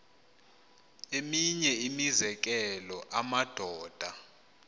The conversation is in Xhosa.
eminye imizekelo amadoda